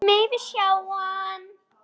Megum við sjá hann!